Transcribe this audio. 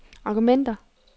argumenter